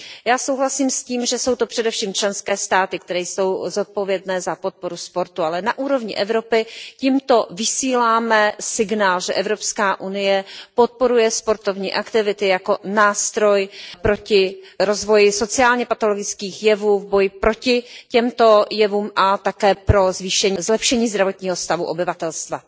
Já souhlasím s tím, že jsou to především členské státy, které jsou zodpovědné za podporu sportu, ale na úrovni Evropy tímto vysíláme signál, že Evropská unie podporuje sportovní aktivity jako nástroj proti rozvoji sociálně patologických jevů, v boji proti těmto jevům a také pro zlepšení zdravotního stavu obyvatelstva.